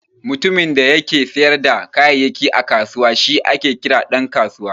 Mutumin da yake siyar da kayayyaki a kusawa shi ake kira Dan kasuwa.